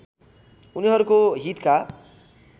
उनीहरुको हितका